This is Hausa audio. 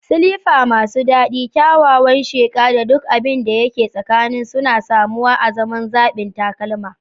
Silifa masu dadi, kyawawan sheqa, da duk abin da ke tsakanin suna samuwa azaman zaɓin takalma.